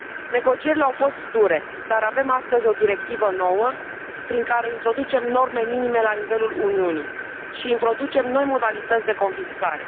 Negocierile au fost dure, dar avem astăzi o directivă nouă, prin care introducem norme minime la nivelul Uniunii și introducem noi modalități de confiscare.